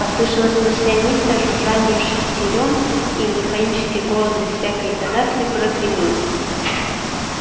послышалось маслянистое жужжание шестерён и механический голос без всякой интонации прогремел